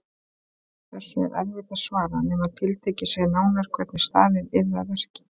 Þessu er erfitt að svara nema tiltekið sé nánar hvernig staðið yrði að verki.